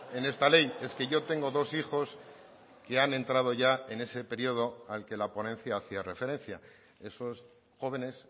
en esta ley es que yo tengo dos hijos que han entrado ya en ese periodo al que la ponencia hacía referencia esos jóvenes